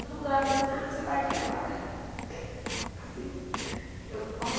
Todo mundo olhava para mim e falava assim, ah você está aqui agora? assim eu